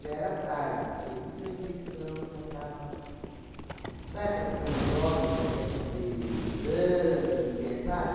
era tarde, porque disso a infecção já estava... Sabe aquelas coisas de homem que não quer fazer exame, não quer, sabe?